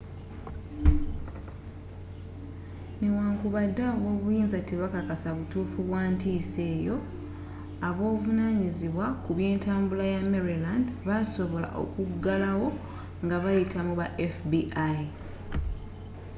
newankubadde abobuyinza tebekakasa butuufu bwa ntiisa eyo abavunanyizibwa ku byentambula ya maryland baasobola okuggalawo ngabayita mu ba fbi